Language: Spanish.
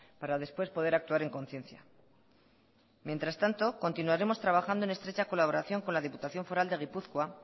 para después poder actuar en conciencia mientras tanto continuaremos trabajando en estrecha colaboración con la diputación foral de gipuzkoa